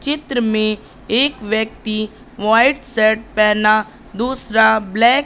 चित्र में एक व्यक्ति व्हाइट शर्ट पेहना दूसरा ब्लैक --